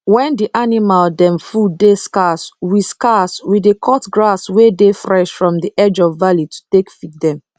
wen d animal dem food dey scarce we scarce we dey cut grass wey dey fresh from d edge of valley to take feed dem